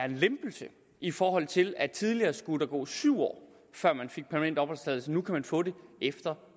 en lempelse i forhold til at tidligere skulle gå syv år før man fik permanent opholdstilladelse nu kan man få den efter